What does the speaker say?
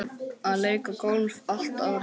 Að leika golf allt árið.